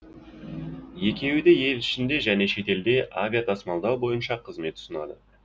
екеуі де ел ішінде және шетелде авиатасымалдау бойынша қызмет ұсынады